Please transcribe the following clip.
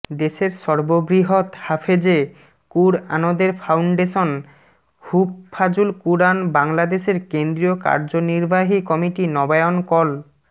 দেশের সর্ববৃহৎ হাফেজে কুরআনদের ফাউন্ডেশন হুফফাজুল কুরআন বাংলাদেশের কেন্দ্রিয় কার্যনির্বাহী কমিটি নবায়ন কল